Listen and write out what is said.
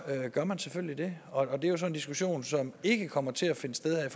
gør man selvfølgelig det og det er jo så en diskussion som ikke kommer til at finde sted her